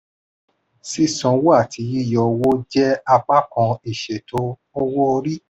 sísanwó àti yíyọ owó jẹ́ apakan ìṣètò owó-orí.